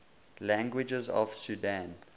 languages of sudan